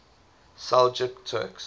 seljuk turks